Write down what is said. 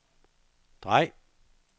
drej